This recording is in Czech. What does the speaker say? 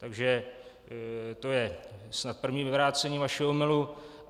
Takže to je snad první vyvrácení vašeho omylu.